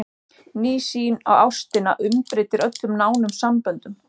Ný sýn á ástina umbreytir öllum nánum samböndum.